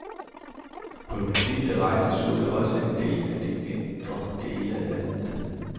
På min sidste rejse så jeg også en del af de indre dele af landet.